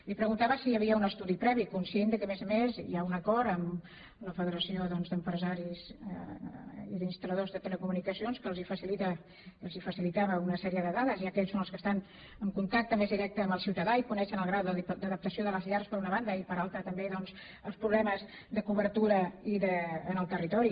li preguntava si hi havia un estudi previ conscient que a més a més hi ha un acord amb la federació doncs d’empresaris i d’instal·ladors de telecomunicacions que els facilita i els facilitava una sèrie de dades ja que ells són els que estan en contacte més directe amb el ciutadà i coneixen el grau d’adaptació de les llars per una banda i per altra també els problemes de cobertura en el territori